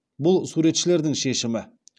бұл суретшілердің шешімі